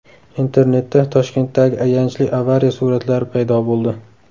Internetda Toshkentdagi ayanchli avariya suratlari paydo bo‘ldi.